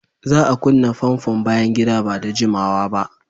Za a kunna famfon bayan gida ba da jimawa ba.